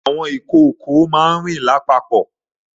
Ìkòkò máa ń rìn lápapò